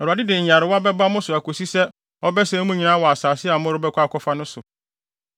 Awurade de nyarewa bɛba mo so akosi sɛ ɔbɛsɛe mo nyinaa wɔ asase a morebɛkɔ akɔfa no so.